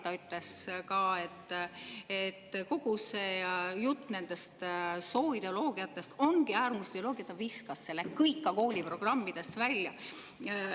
Ta ütles ka, et kogu see jutt sooideoloogiatest ongi äärmusideoloogia, ja ta viskas selle kõik kooliprogrammidest välja.